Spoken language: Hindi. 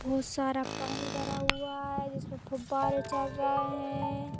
वो सारा पानी भरा हुआ है जिसमें फुब्बारे चल रहे है।